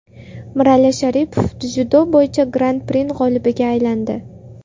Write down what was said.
Mirali Sharipov dzyudo bo‘yicha Gran-pri g‘olibiga aylandi.